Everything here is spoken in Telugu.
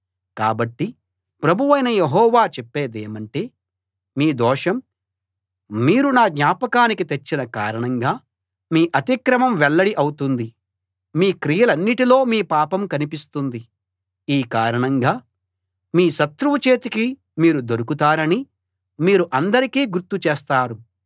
కాబట్టి ప్రభువైన యెహోవా చెప్పేదేమంటే మీ దోషం మీరు నా జ్ఞాపకానికి తెచ్చిన కారణంగా మీ అతిక్రమం వెల్లడి ఔతుంది మీ క్రియలన్నిట్లో మీ పాపం కనిపిస్తుంది ఈ కారణంగా మీ శత్రువు చేతికి మీరు దొరుకుతారని మీరు అందరికీ గుర్తు చేస్తారు